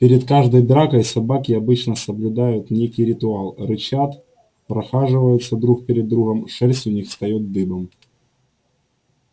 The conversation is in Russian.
перед каждой дракой собаки обычно соблюдают некий ритуал рычат прохаживаются друг перед другом шерсть у них встаёт дыбом